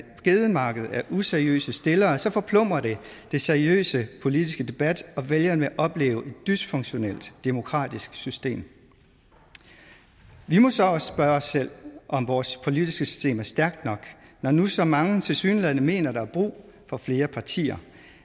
gedemarked af useriøse stillere så forplumrer det den seriøse politiske debat og vælgerne oplever et dysfunktionelt demokratisk system vi må så også spørge os selv om vores politiske system er stærkt nok når nu så mange tilsyneladende mener der er brug for flere partier